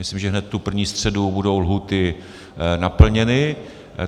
Myslím, že hned tu první středu budou lhůty naplněny.